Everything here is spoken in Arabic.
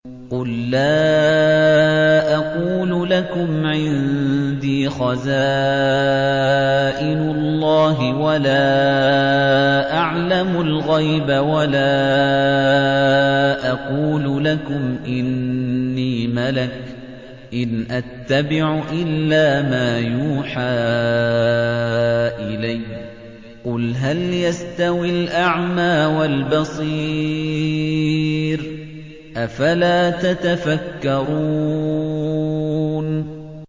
قُل لَّا أَقُولُ لَكُمْ عِندِي خَزَائِنُ اللَّهِ وَلَا أَعْلَمُ الْغَيْبَ وَلَا أَقُولُ لَكُمْ إِنِّي مَلَكٌ ۖ إِنْ أَتَّبِعُ إِلَّا مَا يُوحَىٰ إِلَيَّ ۚ قُلْ هَلْ يَسْتَوِي الْأَعْمَىٰ وَالْبَصِيرُ ۚ أَفَلَا تَتَفَكَّرُونَ